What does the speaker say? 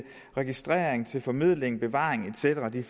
registrering til formidling bevaring et cetera det er